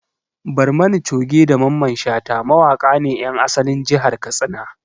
Barmani Coge da Mamman Shata mawaƙa ne ƴan asalin jihar Katsina